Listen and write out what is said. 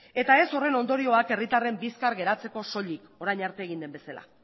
eta ez horren ondorioak herritarren bizkar geratzeko soilik orain arte egin den bezala